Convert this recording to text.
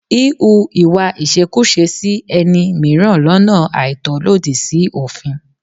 Híhu ìwà ìṣekúṣe sí ẹni mìíràn lọ́nà àìtọ́ lòdì sí òfin.